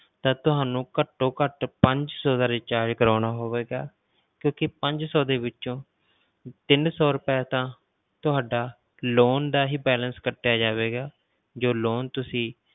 ਤਾਂ ਤੁਹਾਨੂੰ ਘੱਟੋ ਘੱਟ ਪੰਜ ਸੌ ਦਾ recharge ਕਰਵਾਉਣਾ ਹੋਵੇਗਾ ਕਿਉਂਕਿ ਪੰਜ ਸੌ ਦੇ ਵਿੱਚੋਂ ਤਿੰਨ ਸੌ ਰੁਪਏ ਤਾਂ ਤੁਹਾਡਾ loan ਦਾ ਹੀ balance ਕੱਟਿਆ ਜਾਵੇਗਾ, ਜੋ loan ਤੁਸੀਂ